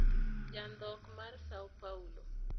Jandhok mar Săo Paulo.